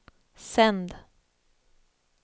sänd